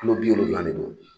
Kulo bi wolonwula ne don.